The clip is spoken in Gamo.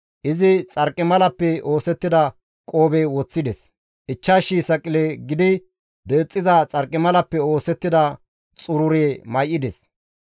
Izi xarqimalappe oosettida qoobe hu7en woththides; 5,000 saqile gidi deexxiza xarqimalappe oosettida xurure may7ides.